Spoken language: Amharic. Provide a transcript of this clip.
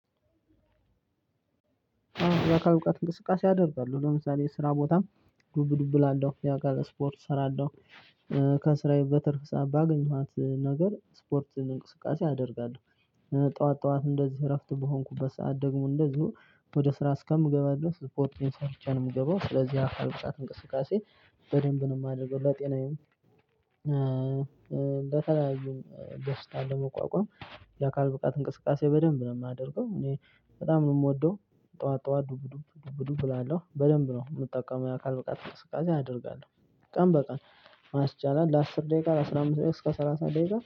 ያካል ብቃት እንቅስቃሴ አደርጋሉ ለምሳሌ ስራ ቦታም ዱብ ዱብ እላለሁ ያው ስፖርት እሰራለሁ። ከስራዬ በትርፍ ሰዓት ባገኘዋት ነገር ስፖርትን እንቅስቃሴ አደርጋለሁ። ጠዋት ጠዋት እንደዚህ እረፍት በሆንኩበት ሰዓት ደግሞ እንደዚሁ ወደ ስራ እስከምገባበት ስፖርት ቤት ሰርቸ ነው የምገባው ስለዚህ አካል ብቃት እንቅስቃሴ በደንብ ነው የማደርገው ለጤናዬም። የተለያዩ ደስታ ለመቋቋም የአካል ብቃት እንቅስቃሴ በደንብ ነው የማደርገው እኔ በጣም ነው የምወደው። ጠዋት ጠዋት ዱብ ዱብ ዱብ ዱብ እላለሁ በደንብ ነው የምጠቀመው ያአካል ብቃት እንቅስቃሴ አደርጋለሁ። ቀን በቀን ማስቻለል ለአስር ደቂቃ ለአስራ አምስት ደቂቃ እስከ ሰላሳ ደቂቃ